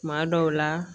Kuma dɔw la